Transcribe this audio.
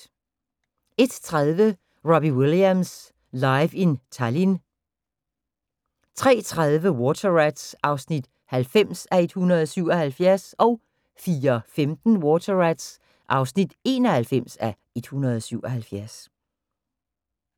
01:30: Robbie Williams: Live in Tallinn 03:30: Water Rats (90:177) 04:15: Water Rats (91:177)